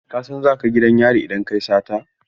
Ka san za ka gidan yari idan ka yi sata?